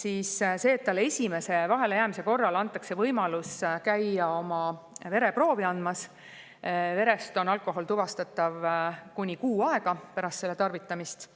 Aga see võimalus, et esimese vahelejäämise korral käiakse vereproovi andmas – verest on alkohol tuvastatav kuni kuu aega pärast selle tarvitamist,